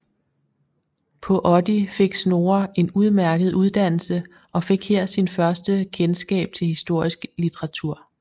På Oddi fik Snorre en udmærket uddannelse og fik her sin første kendskab til historisk litteratur